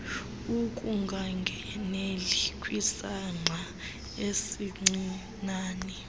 ukungangeneli kwisangqa esincinane